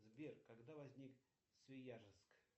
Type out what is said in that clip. сбер когда возник свияжск